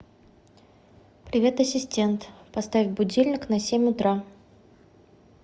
привет ассистент поставь будильник на семь утра